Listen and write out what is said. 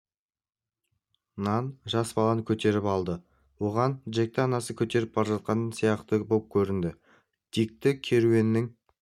нан жас баланы көтеріп алды оған джекті анасы көтеріп бара жатқан сияқты боп көрінді дикті керуеннің